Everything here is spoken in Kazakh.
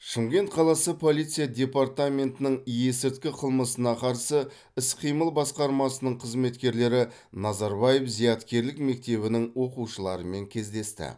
шымкент қаласы полиция департаментінің есірткі қылмысына қарсы іс қимыл басқармасының қызметкерлері назарбаев зияткерлік мектебінің оқушыларымен кездесті